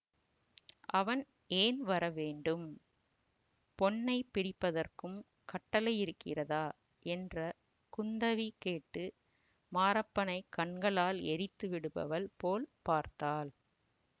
அவன் ஏன் வரவேண்டும் பொன்னை பிடிப்பதற்கும் கட்டளையிருக்கிறதா என்று குந்தவி கேட்டு மாரப்பனைக் கண்களால் எரித்து விடுபவள் போல் பார்த்தாள்